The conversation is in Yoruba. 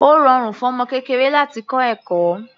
Ó rọrùn fún ọmọ kékeré láti kọ́ ẹ̀kọ́.